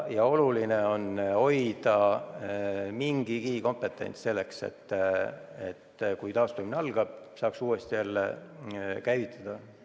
Oluline on hoida alles mingigi kompetents, et kui taastumine algab, saaks selle majandusharu uuesti käivitada.